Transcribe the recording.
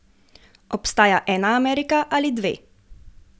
Obstaja ena Amerika ali dve?